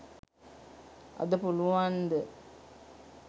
අද පුළුවන් ද